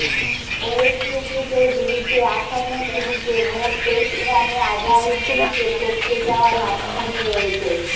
West ইন্ডিজের বিরুদ্ধে আসন্ন সিরিজে মোট টেস্ট রানে আজহারউদ্দিনকে টপকে যাওয়ার হাতছানি রয়েছে